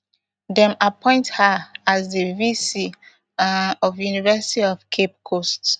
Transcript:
dem appoint her her as di vc um of university of cape coast